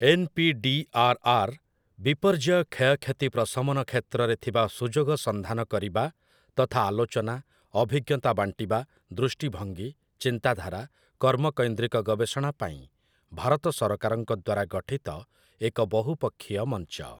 NPDRR. ବିପର୍ଯ୍ୟୟ କ୍ଷୟକ୍ଷତି ପ୍ରଶମନ କ୍ଷେତ୍ରରେ ଥିବା ସୁଯୋଗ ସନ୍ଧାନ କରିବା ତଥା ଆଲୋଚନା, ଅଭିଜ୍ଞତା ବାଣ୍ଟିବା, ଦୃଷ୍ଟିଭଙ୍ଗୀ, ଚିନ୍ତାଧାରା, କର୍ମକୈନ୍ଦ୍ରିକ ଗବେଷଣା ପାଇଁ ଭାରତ ସରକାରଙ୍କ ଦ୍ୱାରା ଗଠିତ ଏକ ବହୁପକ୍ଷୀୟ ମଂଚ ।